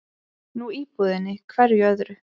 Nú íbúðinni, hverju öðru?